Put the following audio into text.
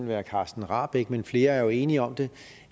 være carsten rahbek men flere er jo enige om det